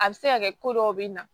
A bɛ se ka kɛ ko dɔw bɛ na